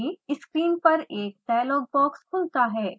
screen पर एक dialog box खुलता है